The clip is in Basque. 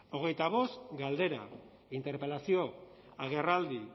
hogeita bost galdera interpelazio agerraldi